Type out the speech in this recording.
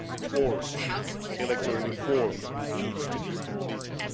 Fourthly, electoral reform needs to be completed.